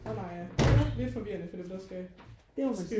Og Maja lidt forvirrende for dem der skal øh